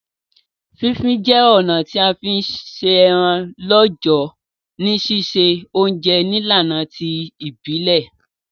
Fí fin je ọ̀nà ti a fi n se eran lọ́jọ̀ ni sise ounje nílànà ti ìbílẹ̀